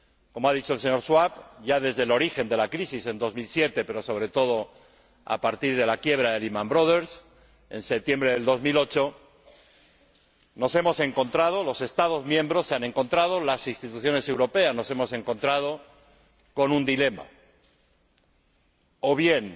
Como ha dicho el señor Schwab, ya desde el origen de la crisis en 2007, pero, sobre todo, a partir de la quiebra de Lehman Brothers en septiembre de 2008, nos hemos encontrado, los Estados miembros se han encontrado, las instituciones europeas nos hemos encontrado con un dilema o bien